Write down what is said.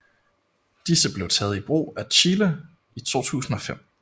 Disse blev taget i brug af Chile i 2005